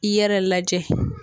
I yɛrɛ lajɛ